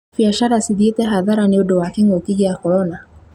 Biacara cithiĩte hathara nĩ ũndũ wa kĩ'ngũki gĩa korona